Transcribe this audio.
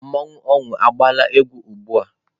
Mmanwụ ọnwụ agbaala egwu ugbua?